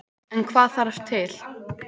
En hvað þarf til.